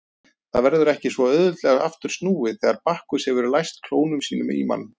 Það verður ekki svo auðveldlega aftur snúið þegar Bakkus hefur læst klónum sínum í mann.